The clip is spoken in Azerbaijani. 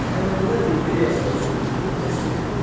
Əhəmənilər imperiyasının süqutunu təsvir edin.